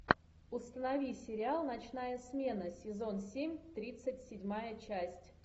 установи сериал ночная смена сезон семь тридцать седьмая часть